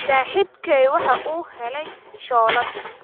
Saaxiibkay waxa uu helay shoolad